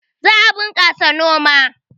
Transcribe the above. Za a bunƙasa noma